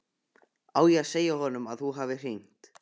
Á ég að segja honum að þú hafir hringt?